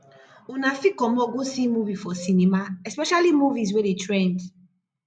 una fit comot go see movie for cinema especially movies wey dey trend